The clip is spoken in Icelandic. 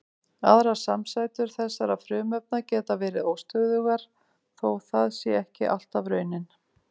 Aðrar samsætur þessara frumefna geta verið óstöðugar þó það sé ekki alltaf raunin.